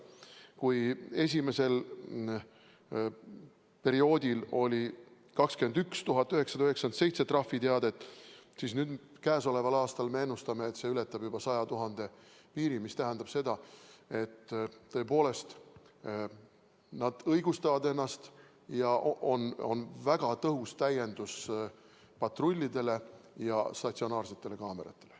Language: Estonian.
Kui esimesel perioodil oli 21 997 trahviteadet, siis käesoleval aastal me ennustame, et see ületab juba 100 000 piiri, mis tähendab, et tõepoolest nad õigustavad ennast ja on väga tõhus täiendus patrullidele ja statsionaarsetele kaameratele.